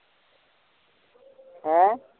ਹਾਂ